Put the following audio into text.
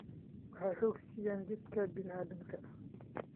Waxay xoog siiyaan jidhka bini'aadamka.